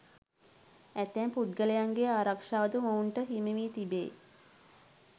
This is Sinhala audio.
ඇතැම් පුද්ගලයන්ගේ ආරක්ෂාවද මොවුන්ට හිමිවී තිබේ.